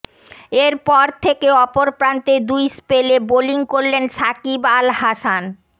এরপর থেকে অপর প্রান্তে দুই স্পেলে বোলিং করলেন সাকিব আল হাসান